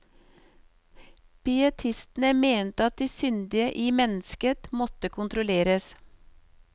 Pietistene mente at det syndige i mennesket måtte kontrolleres.